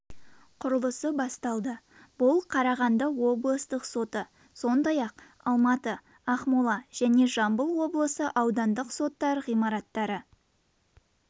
құрылысы басталды бұл қарағанды облыстық соты сондай-ақ алматы ақмола және жамбыл облысы аудандық соттар ғимараттары